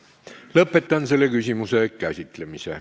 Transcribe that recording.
Lõpetan selle küsimuse käsitlemise.